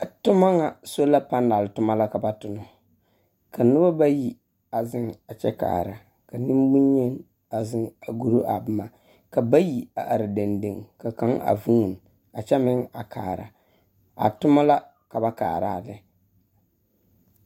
Toma ŋa, sola panɛl toma la ka ba tona. Ka noba bayi a zeŋ a kyɛ kaara. Ka nemboŋyeni a zeŋ a guri a boma. Ka bayi a are dendeŋe. Ka kaŋa a vuuni a kyɛ meŋ a kaara. A toma la ka ba kaara a lɛ.